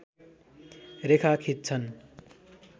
रेखा खिच्छन्